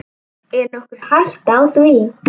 Er nokkur hætta á því?